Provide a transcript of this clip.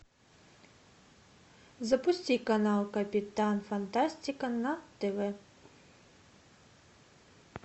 запусти канал капитан фантастика на тв